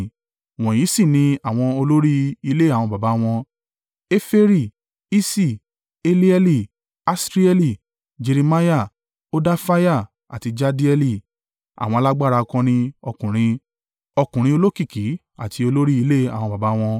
Wọ̀nyí sì ni àwọn olórí ilé àwọn baba wọn. Eferi, Iṣi, Elieli, Asrieli, Jeremiah, Hodafiah àti Jahdieli àwọn alágbára akọni ọkùnrin, ọkùnrin olókìkí, àti olórí ilé àwọn baba wọn.